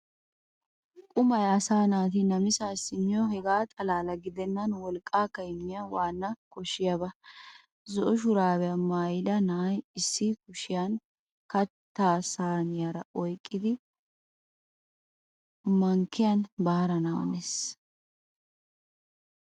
Qumay asaa naati namisaassi miyoo hegaa xalaala gidennan wolqqaakka immiyaa waana koshshiyaaba. Zo"o shuraabiyaa maayida na'iyaa issi kushiyan kattaa sayniyaara oyqqada mankkiyan baarana hanawusu.